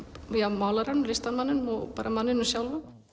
málaranum listamanninum og manninum sjálfum